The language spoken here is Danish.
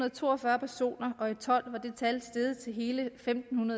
og to og fyrre personer og i og tolv var det tal steget til hele femten